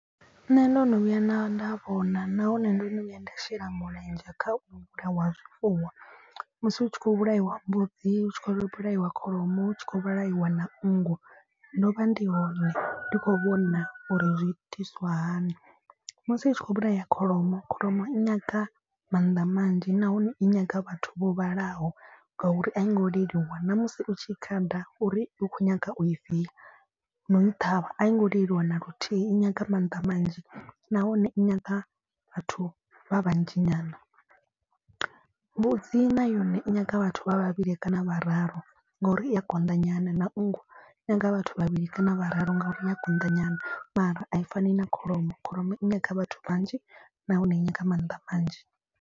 Nṋe ndo no vhuya nda nda vhona nahone ndo no vhuya nda shela mulenzhe kha u vhulawa ha zwifuwo. Musi hu tshi khou vhulaiwa mbudzi hu tshi khou vhulaiwa kholomo hu tshi khou vhulaiwa na nngu ndo vha ndi hone ndi khou vhona uri zwi itiswa hani. Musi hu tshi khou vhulaya kholomo kholomo nyaga mannḓa manzhi nahone i nyaga vhathu vho vhalaho ngauri a i ngo leluwa. Na musi u tshi I khada uri u khou nyaga u i via na u i ṱhavha a i ngo leluwa na luthihi i nyaga mannḓa manzhi nahone i nyaga vhathu vha vhanzhi nyana. Mbudzi na yone i nyanga vhathu vha vhavhili kana vhararu ngauri i ya konḓa nyana na nngu i nyanga vhathu vhavhili kana vhararu. Ngauri i ya konḓa nyana mara a i fani na kholomo kholomo i nyanga vhathu vhanzhi nahone i nyaga maanḓa manzhi.